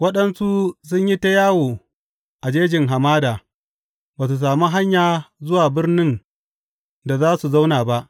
Waɗansu sun yi ta yawo a jejin hamada, ba su sami hanya zuwa birnin da za su zauna ba.